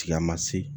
Tilama se